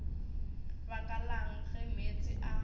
baka lang ge meetse a